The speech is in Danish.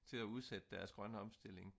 til at udsætte deres grønne omstilling